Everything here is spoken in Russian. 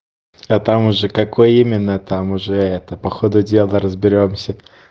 а там уже какое именно там уже это по ходу дела разберёмся